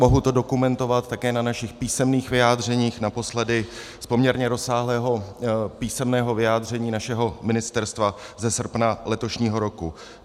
Mohu to dokumentovat také na našich písemných vyjádřeních, naposledy z poměrně rozsáhlého písemného vyjádření našeho ministerstva ze srpna letošního roku.